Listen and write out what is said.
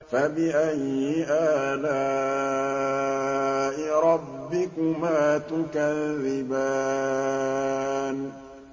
فَبِأَيِّ آلَاءِ رَبِّكُمَا تُكَذِّبَانِ